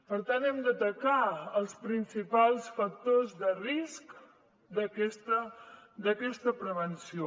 per tant hem d’atacar els principals factors de risc d’aquesta prevenció